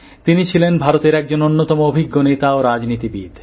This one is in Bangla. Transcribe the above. তিনি ছিলেন ভারতের একজন অন্যতম অভিজ্ঞ নেতা ও রাজনীতিবিদ